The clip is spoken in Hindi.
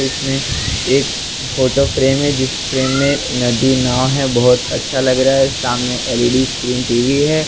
इसमें एक फोटो फ्रेम है जी फ्रेम में नदी नाव है बहोत अच्छा लग रहा है सामने एल_ई_डी स्क्रीन टी_वी है।